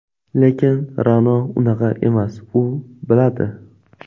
Lekin Ra’no unaqa emas, u biladi.